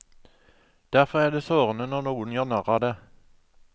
Derfor er det sårende når noen gjør narr av det.